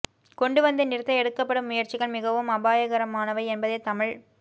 கொண்டு வந்து நிறுத்த எடுக்கப்படும் முயற்சிகள் மிகவும் அபாயகரமானவை என்பதைத் தமிழ்